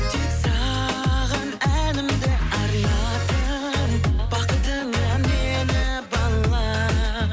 тек саған әнімді арнадым бақытыңа мені бала